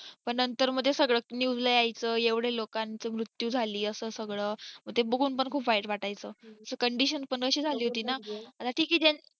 पण नंतर मग ते सगळं news ला यायच एवढे लोकांचा मृत्यू झालाय असा सगळं मंग दे बघून खूप वाईट वाटायचं ही so condition पण तशी झाली होती ना आता ठीक आहे ज्या